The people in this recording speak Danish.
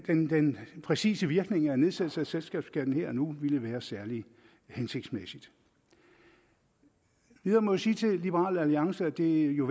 den præcise virkning af en nedsættelse af selskabsskatten her og nu ville være særlig hensigtsmæssig jeg må sige til liberal alliance at det jo